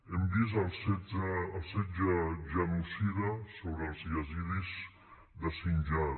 hem vist el setge genocida sobre els yazidites de sinjar